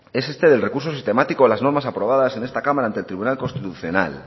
es este del recurso sistemático a las normas aprobadas en esta cámara ante el tribunal constitucional